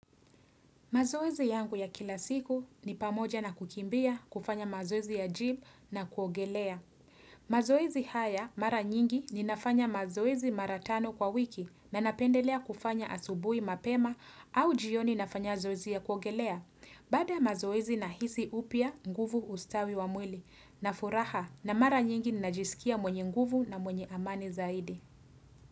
Mazoezi yangu ya kila siku ni pamoja na kukimbia, kufanya mazoezi ya jimu na kuogelea. Mazoezi haya mara nyingi ninafanya mazoezi mara tano kwa wiki na napendelea kufanya asubuhi mapema au jioni nafanya zoezi ya kuogelea. Baada ya mazoezi nahisi upya, nguvu ustawi wa mwili na furaha na mara nyingi najisikia mwenye nguvu na mwenye amani zaidi.